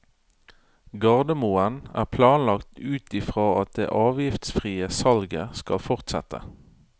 Gardermoen er planlagt ut i fra at det avgiftsfrie salget skal fortsette.